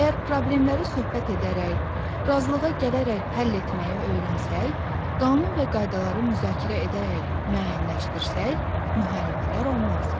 Əgər problemləri söhbət edərək, razılığa gələrək həll etməyi öyrənsək, qanun və qaydaları müzakirə edərək müəyyənləşdirsək, müharibələr olmaz.